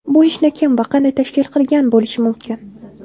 Bu ishni kim va qanday tashkil qilgan bo‘lishi mumkin?